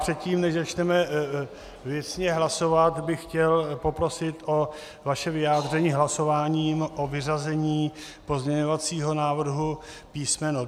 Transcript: Předtím, než začneme věcně hlasovat, bych chtěl poprosit o vaše vyjádření hlasováním o vyřazení pozměňovacího návrhu písm.